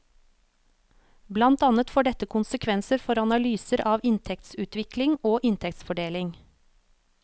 Blant annet får dette konsekvenser for analyser av inntektsutvikling og inntektsfordeling.